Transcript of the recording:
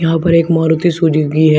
यहाँ पर एक मारुती सुजुकी है।